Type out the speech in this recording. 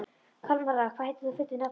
Kalmara, hvað heitir þú fullu nafni?